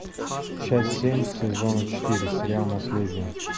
часть семь сезона четыре сериал наследие